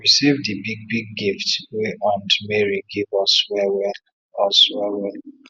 we save di big big gift wey aunt mary give us well well us well well